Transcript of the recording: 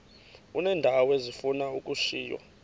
uneendawo ezifuna ukushiywa